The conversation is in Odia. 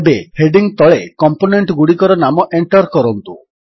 ଏବେ ହେଡିଙ୍ଗ୍ ତଳେ କମ୍ପୋନେଣ୍ଟଗୁଡ଼ିକର ନାମ ଏଣ୍ଟର୍ କରନ୍ତୁ